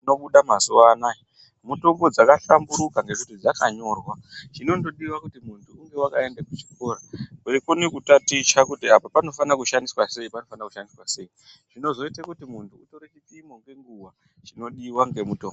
Mitombo dzinobuda mazuwa anaya mitombo dzaka hlamburuka ngekuti dzakanyorwa chinondodiwa kuti muntu unge wakaende kuchikora weikone kutaticha kuti apa oanofana kushandiswa sei panofana kushandiswa sei zvinoite muti muntu ukone kutore chipimo nenguwa chinodiwa ngemutombo